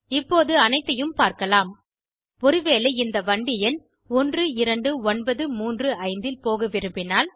இப்போது அனைத்தையும் பார்க்கலாம் ஒருவேளை இந்த வண்டி எண் 12935இல் போக விரும்பினால்